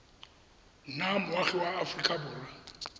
nna moagi wa aforika borwa